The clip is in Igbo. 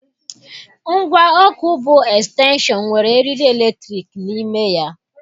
Ngwa ọkụ bu Estenshon nwere eriri eletrik n'ime ya.